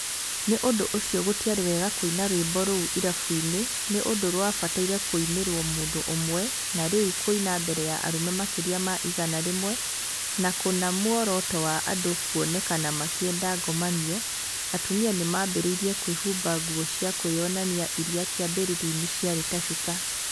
Nĩ ũndũ ũcio gũtĩarĩ wega kũina rwĩmbo rũu irabu-inĩ nĩ ũndũ rwabataire kũinĩrwo mũndũ ũmwe na rĩu kũinwa mbere ya arũme makĩria ma igana rĩmwe, na kũna mũoroto wa andũ kũonekana makĩenda ngomanio, atumia ni maambĩrĩirie kwĩhumba nguo cia kwĩyonania iria kĩambĩrĩria-inĩ ciarĩ ta cuka.